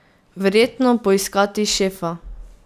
Verjetno poiskat šefa.